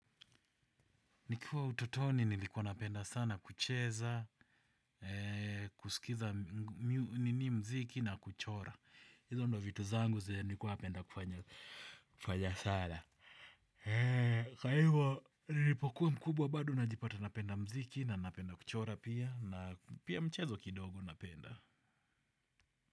Nikiwa ututoni, nilikuwa napenda sana kucheza, kusikiza nini mziki na kuchora. Hizo ndo vitu zangu, nikuwa napenda kufanya sana. Kwaivo, nilipokuwa mkubwa bado, najipata napenda mziki na napenda kuchora pia, na pia mchezo kidogo napenda.